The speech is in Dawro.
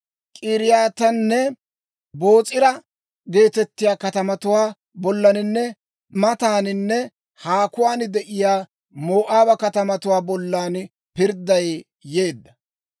K'iriyaatanne, Boos'ira geetettiyaa katamatuwaa bollaninne mataaninne haakuwaan de'iyaa Moo'aaba katamatuwaa bollan pirdday yeedda.